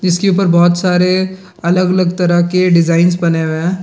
जिसके ऊपर बहुत सारे अलग-अलग तरह के डिजाइंस बनी हुई है।